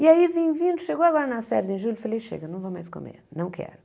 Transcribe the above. E aí, vim vindo, chegou agora nas férias em julho, falei, chega, não vou mais comer, não quero.